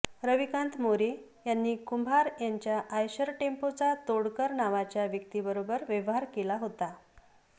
रविकांत मोरे यांनी कुंभार यांच्या आयशर टेम्पोचा तोडकर नावाच्या व्यक्तीबरोबर व्यवहार केला होता